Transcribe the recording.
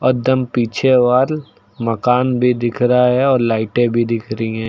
और एकदम पीछे वॉल मकान भी दिख रहा है और लाइटे भी दिख रही हैं।